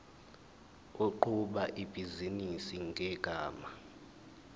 oqhuba ibhizinisi ngegama